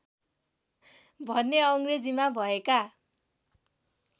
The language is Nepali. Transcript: भने अङ्ग्रेजीमा भएका